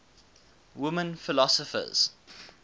women philosophers